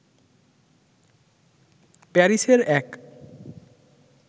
প্যারিসের এক